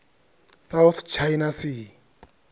south china sea